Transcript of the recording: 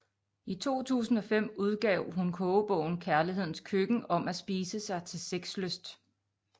I 2005 udgav hun kogebogen Kærlighedens Køkken om at spise sig til sexlyst